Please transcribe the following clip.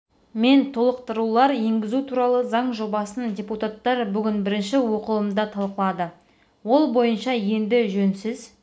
мен толықтырулар енгізу туралы заң жобасын депутаттар бүгін бірінші оқылымда талқылады ол бойынша енді жөнсіз